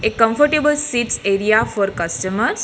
A comfortable seats area for customeres.